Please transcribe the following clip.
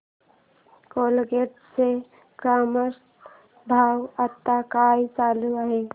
Colgate चा market भाव आता काय चालू आहे